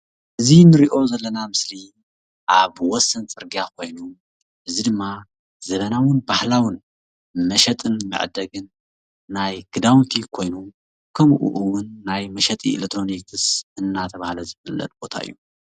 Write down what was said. እዚ ንሪኦ ዘለና ምስሊ አብ ወሰን ፅርግያ ኮይኑ እዚ ድማ ዘመናውን ባህላውን መሸጥን መዐደግን ናይ ክዳውንቲ ኮይኑ ከምኡ እውን ናይ መሽጢ ኤሌትሮኒክስ እናተባህል ዝፍለጥ ቦታ እዩ፡፡